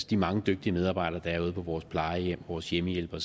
de mange dygtige medarbejdere der er ude på vores plejehjem vores hjemmehjælpere